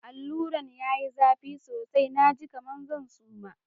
Alura'n ya yi zafi sosai, na ji kaman zan suma.